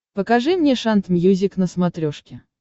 покажи мне шант мьюзик на смотрешке